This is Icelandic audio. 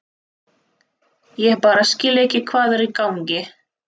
Ég bara skil ekki hvað er í gangi.